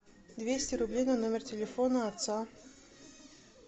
двести рублей на номер телефона отца